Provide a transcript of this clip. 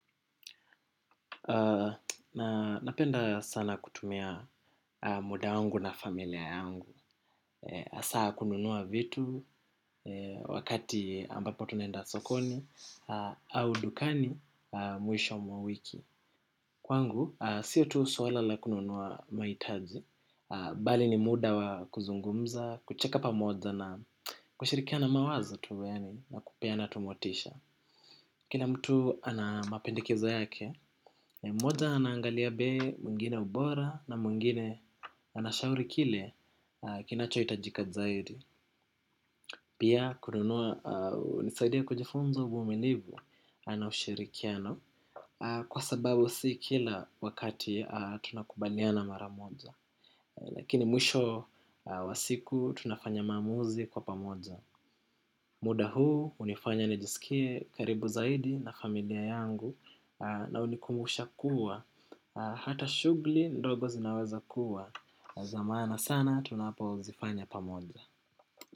Na napenda sana kutumia muda wangu na familia yangu hasa kununua vitu wakati ambapo tunaenda sokoni au dukani mwisho mwa wiki. Kwangu, siyo tu swala la kununua mahitaji bali ni muda wa kuzungumza, kucheka pamoja na kushirikiana mawazo tu yaani na kupeana tu motisha. Kila mtu ana mapendekezo yake. Moja anaangalia bei mwingine ubora na mwingine anashauri kile kinachohitajika zaidi. Pia kununua hunisaidia kujifunza uvumilivu na ushirikiano. Kwa sababu si kila wakati tunakubaliana mara moja. Lakini mwisho wa siku tunafanya maamuzi kwa pamoja. Muda huu hunifanya nijisikie karibu zaidi na familia yangu. Na hunikumusha kuwa hata shughuli ndogo zinaweza kuwa za maana sana tunapozifanya pamoja.